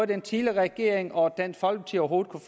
den tidligere regering og dansk folkeparti overhovedet kunne